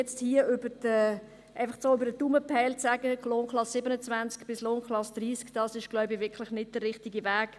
Einfach so über den Daumen gepeilt die Lohnklassen 27–30 festzulegen, ist, glaube ich, wirklich nicht der richtige Weg.